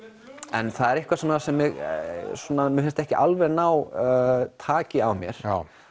en það er eitthvað sem mér finnst ekki alveg ná taki á mér